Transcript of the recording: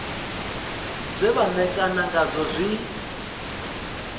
zwe vha ṋekana ngazwo zwi